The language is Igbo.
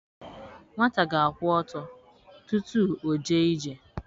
Nwata ga-akwụ ọtọ tutu o jee ije